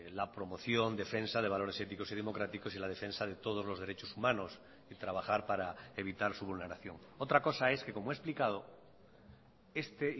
la promoción defensa de valores éticos y democráticos y la defensa de todos los derechos humanos y trabajar para evitar su vulneración otra cosa es que como he explicado este